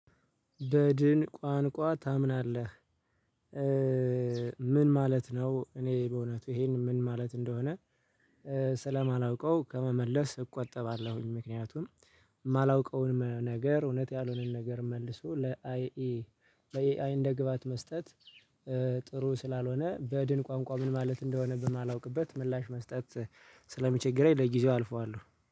በድን ቋንቋ ታምናለህ? ምን ማለት ነው? እኔ በእውነቱ ይሄን ምን ማለት እንደሆነ ስለማላውቀው ከመመለስ እቆጠባለሁኝ። ምክንያቱም የማላውቀውን ነገር እውነት ያልሆነን ነገር መልሶ ለኤአይ እንደግባት መስጠት። ስላልሆነ በድን ቋንቋ ምን ማለት እንደሆነብን ማላውቅበት ምላሽ መስጠት ስለሚቸገረኝ ለጊዜው አልፈዋለሁ